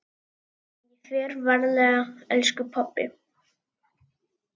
Ég fer varlega elsku pabbi.